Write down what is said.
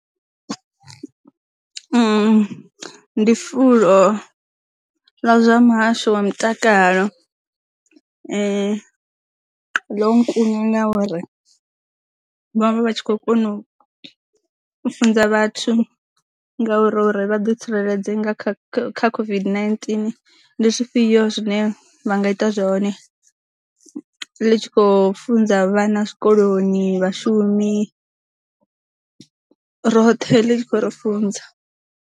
Ndi fulo ḽa zwa muhasho wa mutakalo lo nkunya uri vhavha vha tshi khou kona u funza vhathu ngauri uri vha ḓi tsireledze nga kha COVID-19, ndi zwifhio zwine vha nga ita zwone ḽi tshi khou funza vha na zwikoloni, vha shumi, roṱhe ḽi tshi khou ri funza.